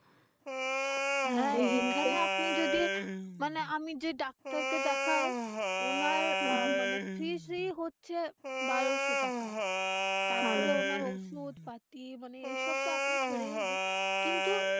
হ্যাঁ এখান আপনি যদি মানে আমি যেই doctor কে দেখাই, উনার আহ মানে fee হচ্ছে বারোশো taka তারপরে ওনার ঔষধ-পাতি মানে এইসব তো আপনি ছেড়েই দিন কিন্তু,